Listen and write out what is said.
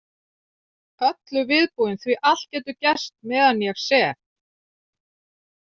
Öllu viðbúin því allt getur gerst meðan ég sef.